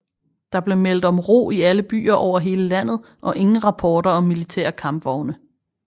Der blev meldt om ro i alle byer over hele landet og ingen rapporter om militære kampvogne